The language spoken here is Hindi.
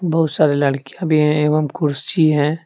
बहुत सारी लड़कियां भी एवं कुर्सी हैं।